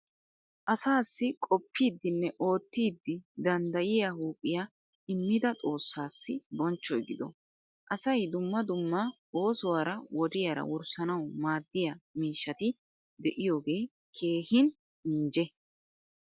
Asaassi qooppidinne oottidi danddayi huuphiya immida xoossaassi bonchchoy gido. Asay dumma dumma oosuwaara wodiyaara wurssanawu maaddiya miishati diyoogee keehin injje.